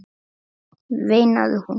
veinaði hún.